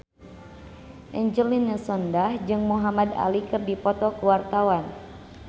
Angelina Sondakh jeung Muhamad Ali keur dipoto ku wartawan